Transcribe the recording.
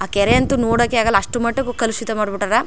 ಆ ಕೆರೆ ಅಂತು ನೋಡಕ್ಕೆ ಆಗಲ್ಲಾ ಅಷ್ಟುಮಟ್ಟಿಗೆ ಕಲುಷಿತ ಮಾಡ್ ಬಿಟ್ಟರ್.